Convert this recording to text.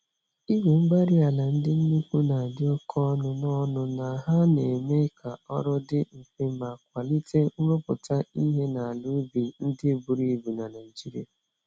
Igwe-mgbárí-ala ndị nnukwu nadi oké ọnụ, na ọnụ, na ha neme k'ọrụ dị mfe ma kwalite nrụpụta ìhè n'ala ubi ndị buru ibu na Nigeria